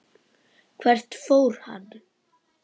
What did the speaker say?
Hvert fór hann?